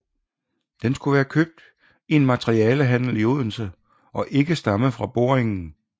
Den skulle være købt i en materialehandel i Odense og ikke stamme fra boringen